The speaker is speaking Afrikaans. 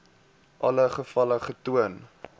alle gevalle getoon